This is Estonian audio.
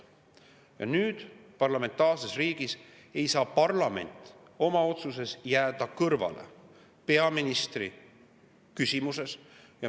Ja parlamentaarses riigis ei saa parlament jääda kõrvale peaministri küsimuse.